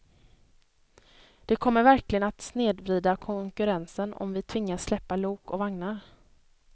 Det kommer verkligen att snedvrida konkurrensen om vi tvingas släppa lok och vagnar.